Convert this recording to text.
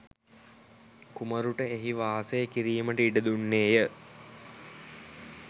කුමරුට එහි වාසය කිරීමට ඉඩ දුන්නේය.